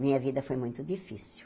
Minha vida foi muito difícil.